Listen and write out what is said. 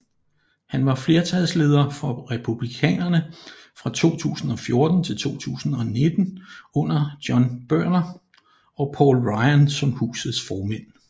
Han var flertalsleder for republikanerne fra 2014 til 2019 under John Boehner og Paul Ryan som Husets formænd